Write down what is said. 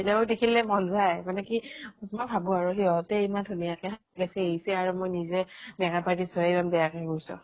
বেলেগক দেখিলে মন যায় মানে কি মই ভাবো আৰু সিহতে ইমান ধুনিয়াকে সাজি কাচি আহিছে আৰু মই নিজে makeup artist হৈ ইমান বেয়াকে গৈছো।